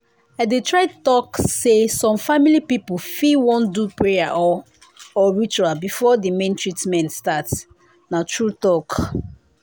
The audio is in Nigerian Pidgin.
i dey try talk say some family people fit wan do prayer or or ritual before the main treatment start na true talk.